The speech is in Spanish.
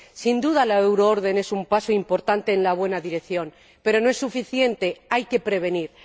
Sin duda, la euroorden es un paso importante en la buena dirección, pero no es suficiente hay que prevenir.